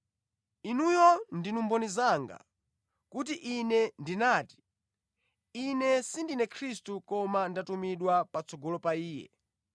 Inuyo ndinu mboni zanga kuti ine ndinati, ‘Ine sindine Khristu koma ndatumidwa patsogolo pa Iye.’